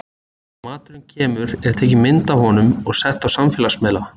Þegar maturinn kemur er tekin mynd af honum og sett á samfélagsmiðla.